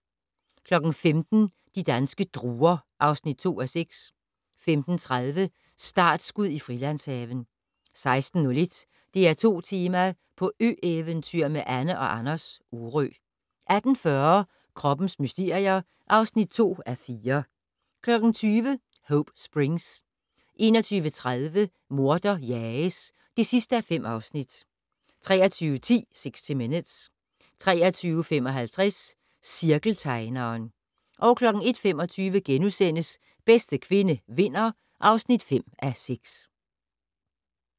15:00: De danske druer (2:6) 15:30: Startskud i Frilandshaven 16:01: DR2 Tema: På ø-eventyr med Anne & Anders - Orø 18:40: Kroppens mysterier (2:4) 20:00: Hope Springs 21:30: Morder jages (5:5) 23:10: 60 Minutes 23:55: Cirkeltegneren 01:25: Bedste kvinde vinder (5:6)*